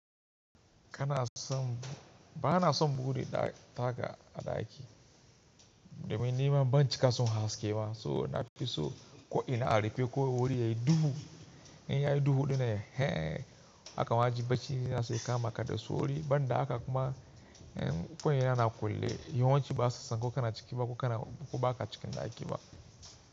Kana son, ba na son buɗe taga a ɗaki. Domin nima ban cika son haske ba. So na fi so ko ina a rife ko wuri yayi duhu. In yayi duhu dinnan, ehen! Akan ajiye bacina sai kama kada su wuri. Banda haka kuma, ko ina ana kwale yawanci ba a sassan ko kana ciki ba ko kana, ko ba ka cikin ɗaki ba.